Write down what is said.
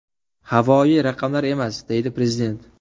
Havoyi raqamlar emas”, – deydi Prezident.